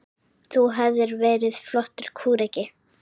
Þú hefðir verið flottur kúreki.